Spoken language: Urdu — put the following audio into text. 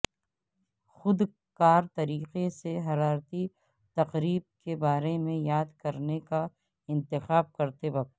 خود کار طریقے سے حرارتی تقریب کے بارے میں یاد کرنے کا انتخاب کرتے وقت